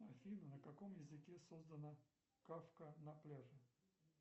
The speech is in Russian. афина на каком языке создана кафка на пляже